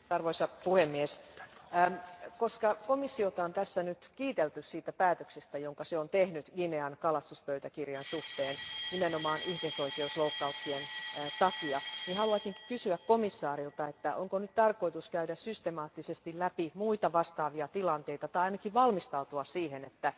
Arvoisa puhemies, koska komissiota on tässä kiitelty siitä päätöksestä, jonka se on tehnyt Guinean kalastuspöytäkirjan suhteen nimenomaan ihmisoikeusloukkauksien takia, haluaisin kysyä komissaarilta, onko nyt tarkoitus käydä systemaattisesti läpi muita vastaavia tilanteita tai ainakin valmistautua siihen, että